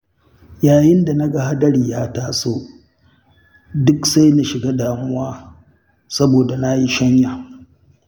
Yayin da naga hadari ya taso, duk sai na shiga damuwa, saboda na yi shanya.